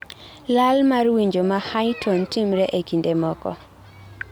lal mar winjo ma high tone timre e kinde moko